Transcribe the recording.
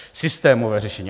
Systémové řešení.